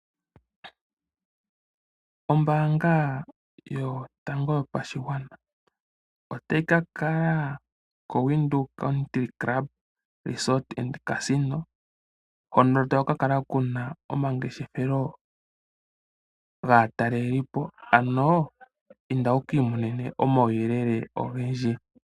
Ombaanga yotango yopashigwana otayi ka kala koWindhoek Country Club Resort and Casino hono taku ka kala omangeshefelo gaatalelipo ano inda wukii monene omauyelele ogendji.